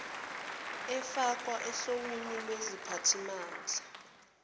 efakwa ohlwni lweziphathimandla